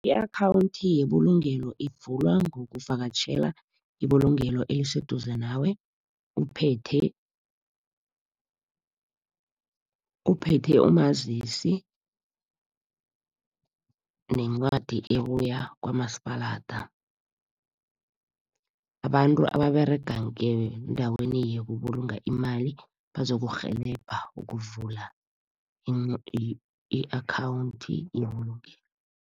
I-akhawunthi yebulungelo ivulwa ngokuvakatjhela ibulungelo eliseduze nawe, uphethe umazisi nencwadi ebuya kwamasipalada. Abantu ababerega ngendaweni yokubulunga imali bazokurhelebha ukuvula i-akhawunthi yebulungelo.